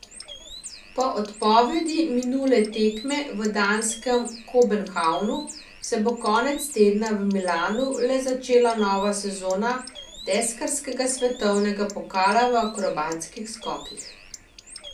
Po odpovedi minule tekme v danskem Kobenhavnu se bo konec tedna v Milanu le začela nova sezona deskarskega svetovnega pokala v akrobatskih skokih.